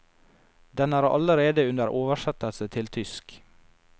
Den er allerede under oversettelse til tysk.